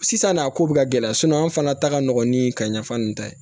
Sisan n'a ko bɛ ka gɛlɛya anw fana ta ka nɔgɔn ni ka ɲɛfɔ ninnu ta ye